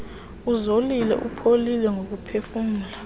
uzolile upholile ngokuphefumla